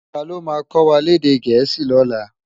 Táló má kòwá lèdè èdè Gẹẹsi lòlå?